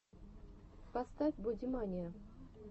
поставь бодимания